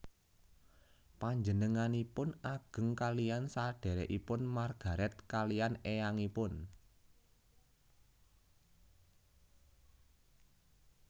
Panjenenganipun ageng kaliyan sadhèrèkipun Margaret kaliyan éyangipun